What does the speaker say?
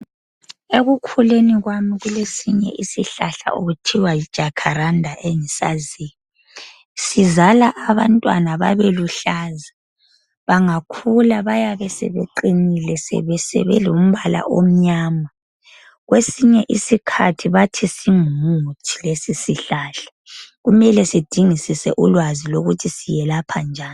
Ekukhuleni kwami kulesinye isihlahla okuthiwa yiJacaranda engisaziyo. Sizala abantwana babeluhlaza. Bangakhula bayabesebeqinile sebelombala omnyama. Kwesinye isikhathi bathi singumuthi lesisihlahla. Kumele sidingisise ulwazi lokuthi siyelapha njani.